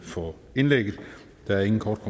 for indlægget der er ingen korte